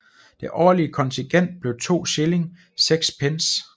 Det årlige kontingent blev 2 shilling 6 pence